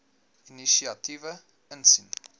inisiatiewe insien